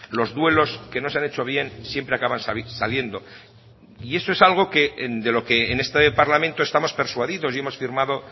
los duelos que no se han hecho bien siempre acaban saliendo y eso es algo que en de lo que en este parlamento estamos persuadidos y hemos firmado